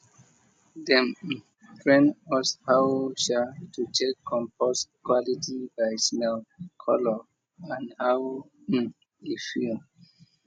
dem train us how sha to check compost quality by smell colour and how e feel